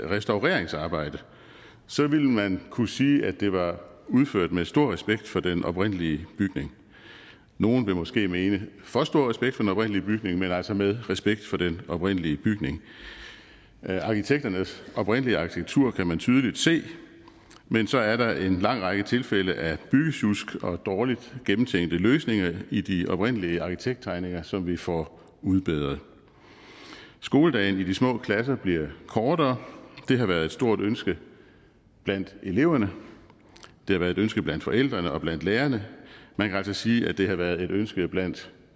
restaureringsarbejde ville man kunne sige at det var udført med stor respekt for den oprindelige bygning nogle vil måske mene for stor respekt for den oprindelige bygning men altså med respekt for den oprindelige bygning arkitekternes oprindelige arkitektur kan man tydeligt se men så er der en lang række tilfælde af byggesjusk og dårligt gennemtænkte løsninger i de oprindelige arkitekttegninger som vi får udbedret skoledagen i de små klasser bliver kortere det har været et stort ønske blandt eleverne det har været et ønske blandt forældrene og blandt lærerne man kan altså sige at det har været et ønske blandt